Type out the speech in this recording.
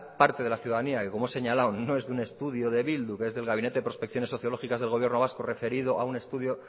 parte de la ciudadanía que como he señalado no es de un estudio de bildu que es del gabinete de prospecciones sociológicas del gobierno vasco referido a un estudio